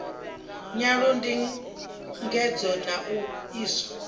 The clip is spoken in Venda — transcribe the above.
nyolo ndingedzo na u iswa